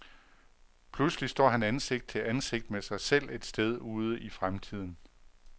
Pludselig står han ansigt til ansigt med sig selv et sted ude i fremtiden.